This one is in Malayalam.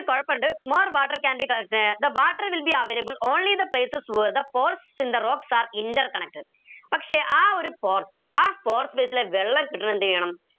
ഒരു കൊഴപ്പിണ്ട് more water can be the water will be available only the places where the pores in the rocks are interconnected പക്ഷെ ആ ഒരു pores ആ pore space ലെ വെള്ളം എന്തെയണം